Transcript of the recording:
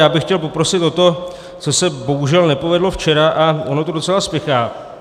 Já bych chtěl poprosit o to, co se bohužel nepovedlo včera, a ono to docela spěchá.